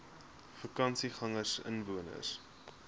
vakansiegangersinwoners